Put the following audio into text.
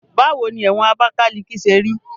Báwo ni ẹ̀wọ̀n Abakaliki ṣe rí?